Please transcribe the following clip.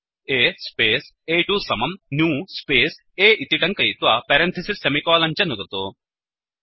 A space अ2 समम् new space A इति टङ्कयित्वा पेरन्तिसिस् सेमिकोलन् च नुदतु